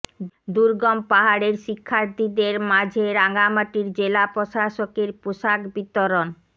দুর্গম পাহাড়ের শিক্ষার্থীদের মাঝে রাঙামাটির জেলা প্রশাসকের পোশাক বিতরণ